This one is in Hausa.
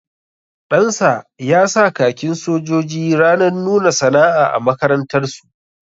Ɗansa ya sa khakin sojoji ranar nuna sana'a a makarantar su